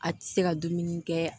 A ti se ka dumuni kɛ